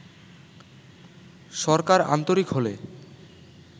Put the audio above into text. সরকার আন্তরিক হলে